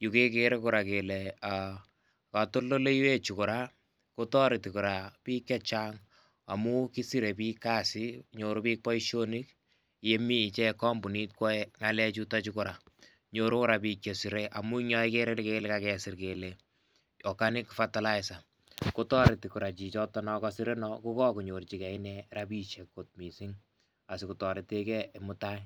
,yu kekere koraa kele aa kotondoleiwechu, koraa kotoreti koraa bik chechang amun kisiree bik kasit nyoru bik boisionik yemi ichek kompunit kwoe ngalechuto koraa ,nyoru koraa bik chesiree amu yoo ikere ile kakesir kele organic fertiliser kotoreti koraa chichoto non kosire ko kokonyorjigee inee rabishek kot misink asikotoreteigee mutai.